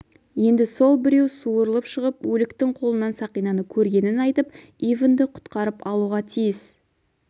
енді сол біреу суырылып шығып өліктің қолынан сақинаны көргенін айтып ивэнді құтқарып алуға тиіс